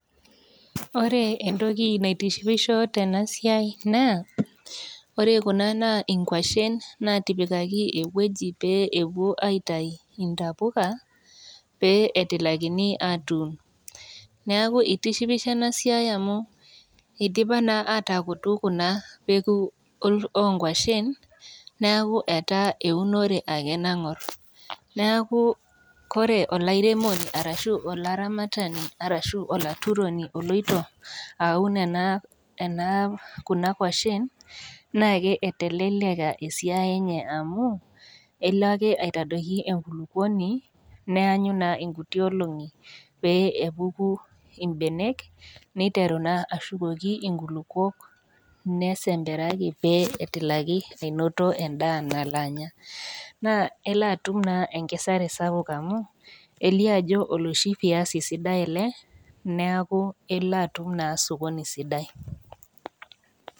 Ore entoki naitishipisho tena siai naa, ore Kuna naa inkwashen naitipikaki ewueji pee epuo aitayu intapuka, pee etilakini atuun. Neaku keitishipisho ena siai amu amu eidipa naa ataakutu Kuna peko o nkwashen neaku etaa eunore ake nang'or, neaku Kore olairemoni arashu olaramatani arashu olaturoni oloito aun ena ,Kuna kwashen naake eteleleka esiai enye amu, elo ake aitadoki enkulukuoni neanyu naa inkuti olong'i pee epuku naa imbenek neiteru naa ashukoki inkulukuok, nesemperaki, pee etilaki ainoto endaa nalo anya, naa elo atum naa enkesare sapuk amu, elio ajo oloshi viazi sidai ele neaku elo atum naa sokoni sidai.